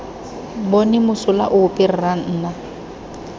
bone mosola ope rra nna